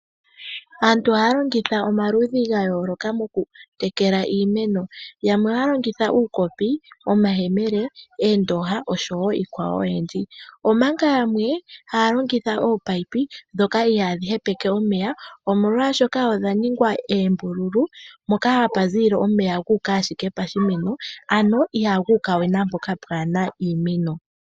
Aantu ohaya longitha omaludhi gayooloka mokutekela iimeno, yamwe ohaya longitha uukopi, omayele, oondooha osho woo iikwawo oyindji, omanga yamwe haya longitha oopayipi ihaadhi hepele omeya omolwaashoka odha ningwa oombululu mpoka hapu ziilile omeya gooka ashike koshimeno ano Inaguukawe naampoka kaapuna iimeno.